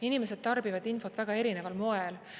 Inimesed tarbivad infot väga erineval moel.